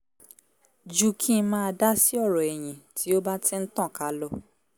ju kí ń máa dá sí ọ̀rọ̀ ẹ̀yìn tí ó bá ti ń tànká lọ